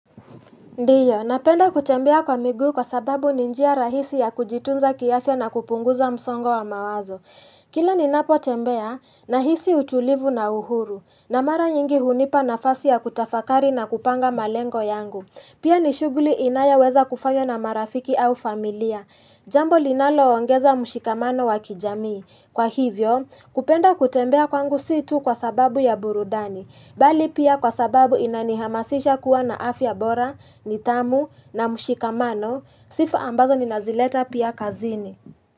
Ndio, napenda kutembea kwa miguu kwa sababu ni njia rahisi ya kujitunza kiafya na kupunguza msongo wa mawazo. Kila ninapotembea, nahisi utulivu na uhuru. Na mara nyingi hunipa nafasi ya kutafakari na kupanga malengo yangu. Pia ni shughuli inayoweza kufanywa na marafiki au familia. Jambo linaloongeza mshikamano wa kijamii. Kwa hivyo, kupenda kutembea kwangu si tu kwa sababu ya burudani. Bali pia kwa sababu inanihamasisha kuwa na afya bora, nidhamu na mshikamano, sifa ambazo ninazileta pia kazini.